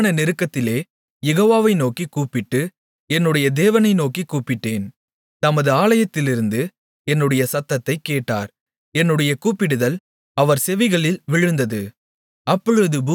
எனக்கு உண்டான நெருக்கத்திலே யெகோவாவை நோக்கிக் கூப்பிட்டு என்னுடைய தேவனை நோக்கிக் கூப்பிட்டேன் தமது ஆலயத்திலிருந்து என்னுடைய சத்தத்தைக் கேட்டார் என்னுடைய கூப்பிடுதல் அவர் செவிகளில் விழுந்தது